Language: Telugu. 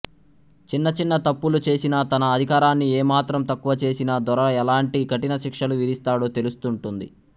చిన్న చిన్న తప్పులు చేసినా తన అధికారాన్ని ఏమాత్రం తక్కువచేసినా దొర ఎలాంటి కఠినశిక్షలు విధిస్తాడో తెలుస్తూంటుంది